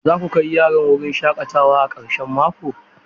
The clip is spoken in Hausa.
Za ku kai yaran wurin shaƙatawa a karshen mako?